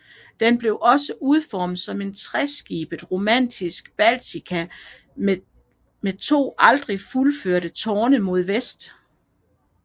Den blev udformet som en treskibet romansk basilika med to aldrig fuldførte tårne mod vest